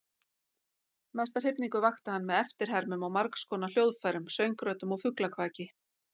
Mesta hrifningu vakti hann með eftirhermum á margskonar hljóðfærum, söngröddum og fuglakvaki.